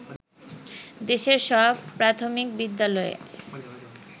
দেশের সব প্রাথমিক বিদ্যালয়ে